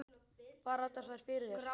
Falla þær allar fyrir þér?